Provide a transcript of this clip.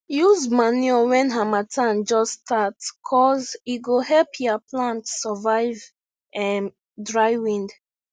use manure when harmattan just start cuz e go help ya plants survive um dry wind